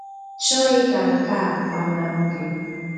chọ́ghị ka nke a gbàána hụ́ gị.